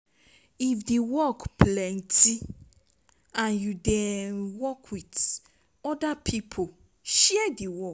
if di work plenty and you um dey work with oda pipo, share di work